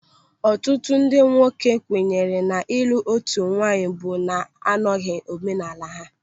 Ọtụtụ ndị nwoke kwenyere na ịlụ otu nwaanyị bụ na anọghị omenaala ha.